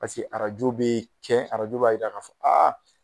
Pase arajo bee kɛ arajo b'a yira ka fɔ